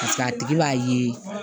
paseke a tigi b'a ye